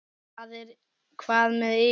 Hvað með ykkur?